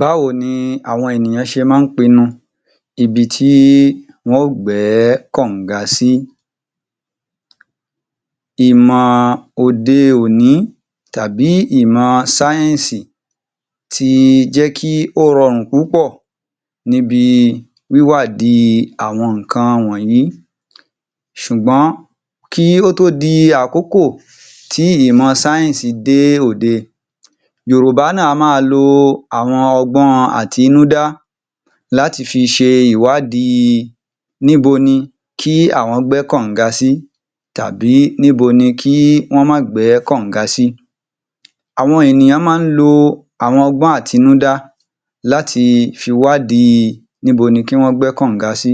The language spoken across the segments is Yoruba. Báwo ni àwọn ènìyàn ṣe máa ń pinu ibi tí wọ́n ó gbẹ́ kọ̀nga sí? Ìmọ̀ òde-òní tàbí ìmọ̀ sáyẹ̀nsì ti jẹ́ kí ó rọrùn púpọ̀ níbi wíwádìí àwọn nǹkan wọ̀nyìí ṣùgbọ́n kí ó tó di àkókò tí ìmọ̀ sáyẹ̀nsì dé òde, Yorùbá náà á máa lo àwọn ọgbọ́n àtinúdá láti fi ṣe ìwádìí níbo ni kí àwọn gbẹ́ kọ̀nga sí tàbí níbo ni í wọ́n máa gbẹ́ kọ̀nga sí. Àwọn ènìyàn máa ń lo àwọn ọgbọ́n àtinúdá láti fi wádìí íbo ní kí wọ́n gbẹ́ kọ̀nga sí.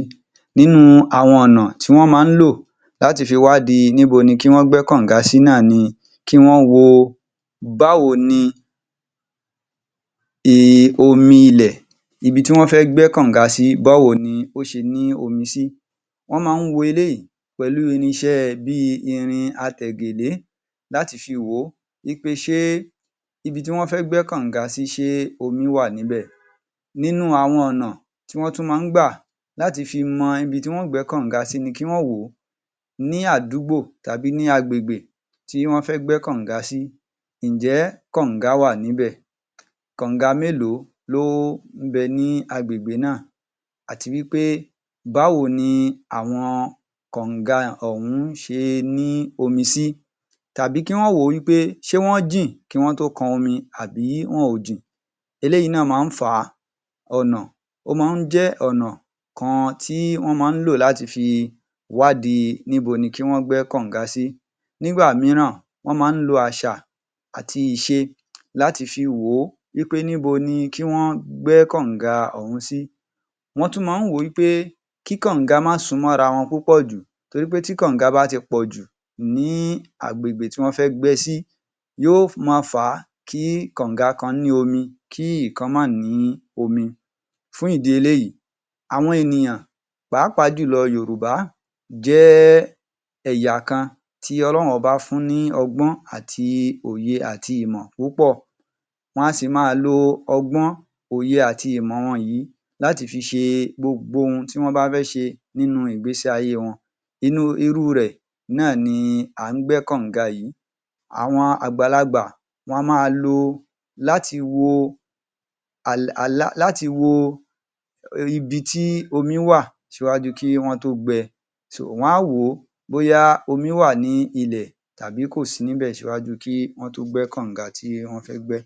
Nínú àwọn ọ̀nà tí wọ́n máa ń lò láti fi wádìí íbo ni kí wọ́n gbẹ́ kọ̀nga sí náà ni kí wọ́n wo báwo ni omi ilẹ̀, ibi tí wọ́n fẹ́ gbẹ́ kọ̀nga sí, báwo ni ó ṣe ní omi sí, wọ́n máa ń wo eléyìí pẹ̀lú irinṣẹ́ bí i irin atègèdé láti fi wò ó wí pé ṣe ibi tí wọ́n fẹ́ gbẹ́ kọ̀nga sí ṣe omi wà níbẹ̀. Nínú àwọn ọ̀nà tí wọ́n tún máa ń gbà láti fi mọ ibi tí wọ́n ó gbẹ́ kọ̀nga sí ni kí wọ́n wò ó ní àdùgbọ́ tàbí ní agbègbè tí wọ́n fẹ́ gbẹ́ kọ̀nga sí, ǹjẹ́ kọ̀nga wà níbẹ̀? kọ̀nga mélòó ló ń bẹ ní agbègbè náà? àti wí pé báwo ni àwọn kọ̀nga ọ̀hún ṣe ní omi sí? tàbí kí wọ́n wò ó wí pé ṣé wọ́n jìn kí wọ́n tó kan omi àbí wọn ò jìn? Eléyìí náà máa ń fà á. ọ̀nà, ó máa ń jẹ́ ọ̀nà kan tí wọ́n máa ń lò láti fi wádìí íbo ní kí wọ́n gbẹ́ kọ̀nga sí, nígbà mìíràn wọ́n máa ń lo àṣà àti ìṣe láti fi wò ó wí pé níbo ni kí wọ́n gbẹ́ kònga ọ̀hún sí, wọ́n tún máa ń wò ó pé kí kọ̀nga máa sún mọ́ra wọn púpọ̀ jù, torí pé tí kọ̀nga bá ti pọ̀jù ní agbègbè tí wọ́n fẹ́ gbẹ sí, yóò má fà á kí kọ̀nga kan ní omi, kí kọ̀nga kan máa ní omi. Fún ìdí eléyìí, àwọn ènìyàn pàápàá jù lọ Yorùbá jẹ́ ẹ̀yà kan tí Ọlọ́run ọba fún ní ọgbọ́n àti òye àti ìmọ̀ púpọ̀, wa si máa lo ọgbọ́n, òye àti ìmọ̀ wọn yìí láti fi ṣe gbogbo ohun tí wọ́n bá fẹ́ ṣe nínú ìgbésí ayé wọn, nínú rẹ̀ náà ni à ń gbẹ́ kọ̀nga yìí. Àwọn àgbàlagbà, wọ́n máa lo láti wo láti wo ibi tí omi wà ṣíwájú kí wọ́n to gbẹ, wa wo bóyá omi wà ní ilẹ̀ àbí kò sí kí wọ́n tó gbẹ́ kọ̀nga tí wọ́n fẹ́ gbẹ́.